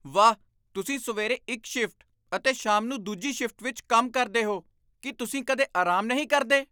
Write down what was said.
ਵਾਹ! ਤੁਸੀਂ ਸਵੇਰੇ ਇੱਕ ਸ਼ਿਫਟ ਅਤੇ ਸ਼ਾਮ ਨੂੰ ਦੂਜੀ ਸ਼ਿਫਟ ਵਿੱਚ ਕੰਮ ਕਰਦੇ ਹੋ! ਕੀ ਤੁਸੀਂ ਕਦੇ ਆਰਾਮ ਨਹੀਂ ਕਰਦੇ?